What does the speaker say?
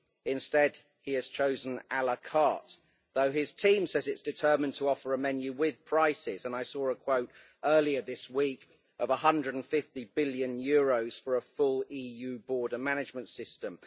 Instead, he has chosen la carte though his team says it is determined to offer a menu with prices, and I saw a quote earlier this week of EUR 150 billion for a full EU border management system.